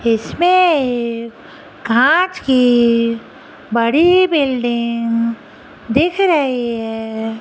इसमें कांच की बड़ी बिल्डिंग दिख रही है।